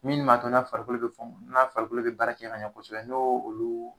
Minnu ma to n'a farikolo be fu, n'a farikolo be baarakɛ ka ɲɛ kosɛbɛ n y'o olu